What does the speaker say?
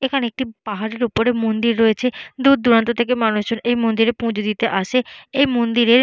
এখানে একটি পাহাড়ের ওপরে মন্দির রয়েছে দূর দূরান্ত থেকে মানুষ জন এই মন্দিরে পূজো দিতে আসে এই মন্দিরে--